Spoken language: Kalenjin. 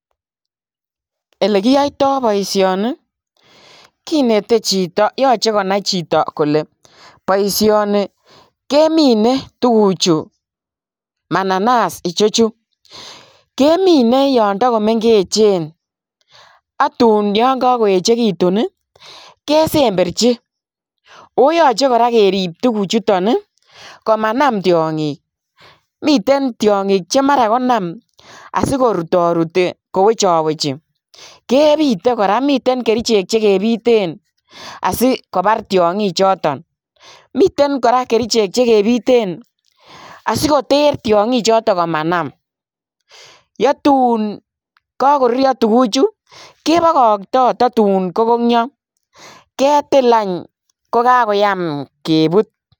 Elekiyoito boishoni kinete chito yoche konai chito kolee boishoni kemine tukuchu mananas ichechu, kemine yoon tokomeng'echen ak tuun yoon ko koechekitun kesemberchi, oyoche kora kerib tukuchuton komanam tiong'ik, miten tiong'ik chemara konam asikoruto rutii kowecho wechi, kebite kora, miten kerichek chekebiten asikobar tiong'ichoton, miten kora kerichek chekebiten asikoter tiong'i choton komanam, yetun kokoruryo tukuchu kebokokto totun konunio ketil any ko kakoyam kebut.